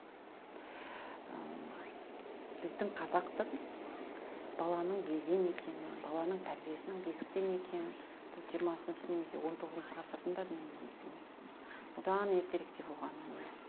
ы біздің қазақтық баланың белден екенін баланың тәрбиесінің бесіктен екенін бұл жиырмасыншы немесе он тоғызыншы ғасырдың да дүниесі емес одан ертеректе болған дүние